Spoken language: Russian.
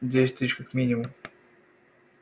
десять тысяч как минимум